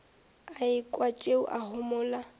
a ekwa tšeo a homola